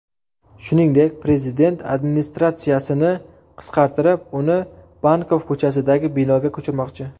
Shuningdek, prezident administratsiyasini qisqartirib, uni Bankov ko‘chasidagi binoga ko‘chirmoqchi.